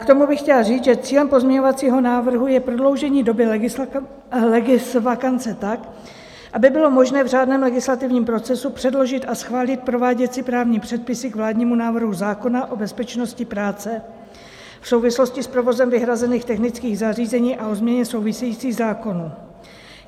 K tomu bych chtěla říct, že cílem pozměňovacího návrhu je prodloužení doby legisvakance tak, aby bylo možné v řádném legislativním procesu předložit a schválit prováděcí právní předpisy k vládnímu návrhu zákona o bezpečnosti práce v souvislosti s provozem vyhrazených technických zařízení a o změně souvisejících zákonů.